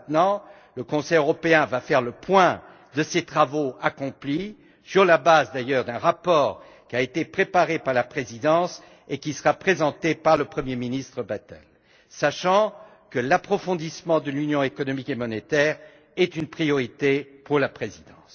À présent, le Conseil européen va faire le point sur les travaux accomplis, sur la base d'un rapport qui a été préparé par la présidence et qui sera présenté par le Premier ministre Bettel, sachant que l'approfondissement de l'Union économique et monétaire est une priorité pour la présidence.